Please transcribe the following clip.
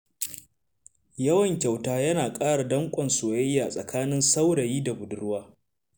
Yawan kyauta yana ƙara danƙon soyayya tsakanin saurayi da budurwa.